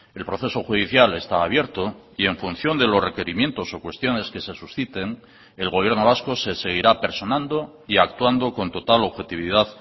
el proceso judicial está abierto y en función de los requerimientos o cuestiones que se susciten el gobierno vasco se seguirá personando y actuando con total objetividad